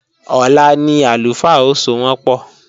Ọ̀la ni àlùfáà ó sowọ́npọ̀